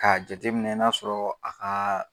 Ka jate minɛ n'a sɔrɔ a ka